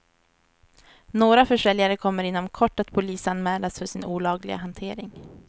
Några försäljare kommer inom kort att polisanmälas för sin olagliga hantering.